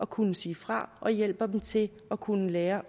kunne sige fra og hjælper dem til at kunne lære